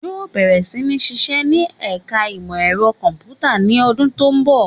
Yóò bẹ̀rẹ̀ sí ní sisẹ́ ní ẹ̀ka ìmọ ẹ̀rọ kọ̀m̀pútà ní ọdún tó ń bọ̀